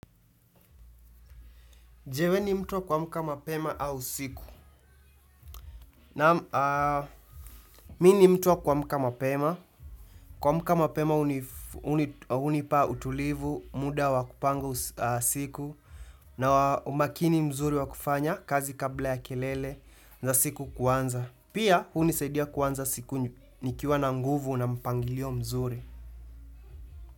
Je wewe ni mtu wa kuamka mapema au usiku. Mimi ni mtu wa kuamka mapema. Kuamka mapema hunipa utulivu, muda wa kupanga siku, na umakini mzuri wa kufanya kazi kabla ya kelele za siku kuanza. Pia, hunisaidia kuanza siku nikiwa na nguvu na mpangilio mzuri.